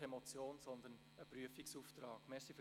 Diese Strategie liegt noch nicht vor.